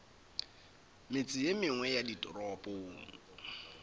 metse ye mengwe ya ditoropong